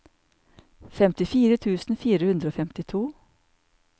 femtifire tusen fire hundre og femtito